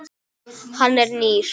Hann nýr.